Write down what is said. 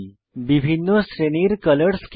বিভিন্ন শ্রেণীর colour scheme